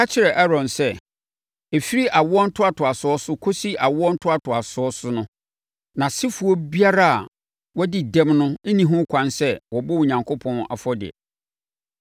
“Ka kyerɛ Aaron sɛ, ɛfiri awoɔ ntoatoasoɔ so kɔsi awoɔ ntoatoasoɔ so no, nʼasefoɔ biara a wɔadi dɛm no nni ho kwan sɛ wɔbɔ Onyankopɔn afɔdeɛ.